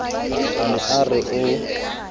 a ne a re o